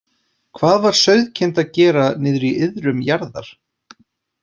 Hvað var sauðkind að gera niðri í iðrum jarðar?